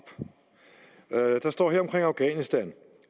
der står her til afghanistan